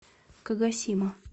кагосима